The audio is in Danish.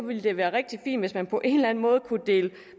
ville det være rigtig fint hvis man på en eller enden måde kunne dele